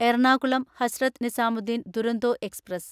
Ernakulam Hazrat Nizamuddin Duronto express